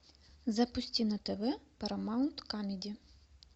запусти на тв парамаунт камеди